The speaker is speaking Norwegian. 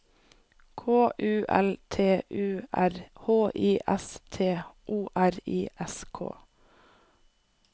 K U L T U R H I S T O R I S K